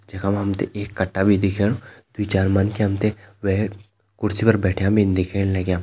जखा मा हम ते एक कट्टा भी दिखेणु दुई चार मन्खि हम ते वे कुर्सी पर बैठ्यां भीन दिखेण लग्यां।